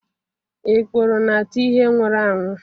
Ikpuru na-ata ihe nwụrụ anwu